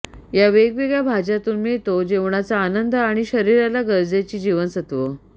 या वेगवेगळ्या भाज्या तून मिळतो जेवणाचा आनंद आणि शरीराला गरजेची जीवनसत्व